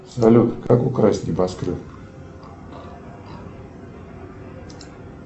салют как украсть небоскреб